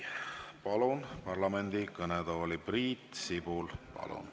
Palun parlamendi kõnetooli Priit Sibula.